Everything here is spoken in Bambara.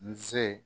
N se